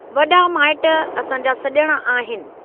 वॾा माइट असांजा सज॒ण आहिनि।